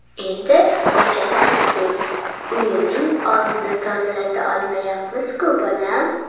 Endi ko‘chasi tugul, uyining oldini tozalata olmayapmizku bolam?